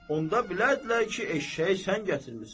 Onda bilərdilər ki, eşşəyi sən gətirmisən.